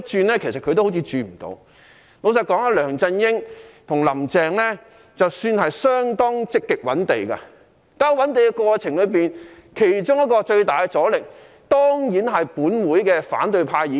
老實說，梁振英和"林鄭"算是相當積極覓地的，在覓地過程中，其中一個最大的阻力，當然是本會的反對派議員。